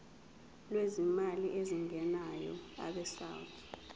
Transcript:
lwezimali ezingenayo abesouth